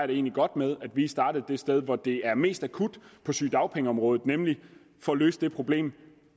det egentlig godt med at vi startede det sted hvor det er mest akut på sygedagpengeområdet nemlig med at få løst det problem